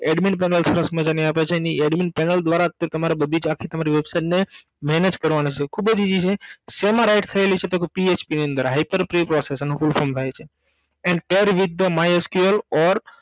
Admin panel સરસ મજાની આપેલ છે અને એ Admin panel દ્વારાજ તે તમારે બધી જ આખી તમારી website ને mange કરવાની છે ખૂબ easy છે શેમાં ride થયેલી છે તોકે PHP ની અંદર Hyper pay process એનું full from થાય છે And care with the my SQL